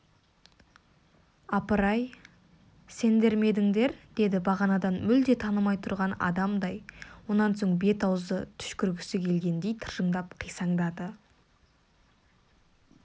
апырай сендер ме едіңдер деді бағанадан мүлде танымай тұрған адамдай онан соң бет-аузы түшкіргісі келгендей тыржыңдап қисаңдады